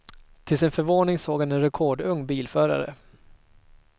Till sin förvåning såg han en rekordung bilförare.